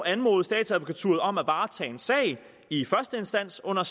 anmode statsadvokaturen om at varetage en sag i første instans under